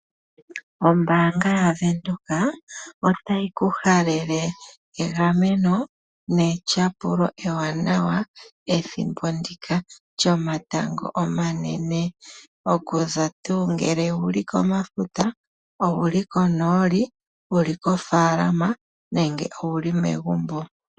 Ombaanga yaVenduka otayi ku halele egameno netyapulo ewanawa pethimbo ndika lyomatango omanene, okuza tuu ngele owuli komafuta , owuli konooli, wuli koomafaalama nenge wuli megumbo.